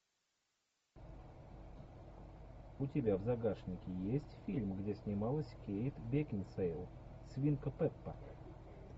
у тебя в загашнике есть фильм где снималась кейт бекинсейл свинка пеппа